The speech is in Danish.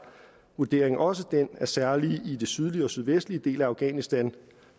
vurderingen også den at særligt i den sydlige og sydvestlige del af afghanistan